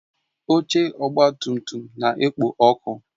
Oche ọgba tum tum na-ekpo ọkụ